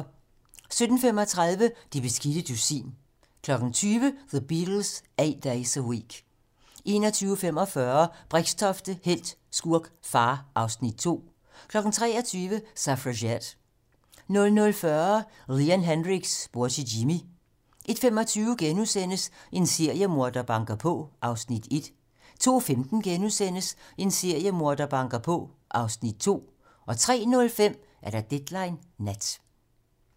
17:35: Det beskidte dusin 20:00: The Beatles - Eight Days a Week 21:45: Brixtofte - helt, skurk, far (Afs. 2) 23:00: Suffragette 00:40: Leon Hendrix - bror til Jimi 01:25: En seriemorder banker på (Afs. 1)* 02:15: En seriemorder banker på (Afs. 2)* 03:05: Deadline nat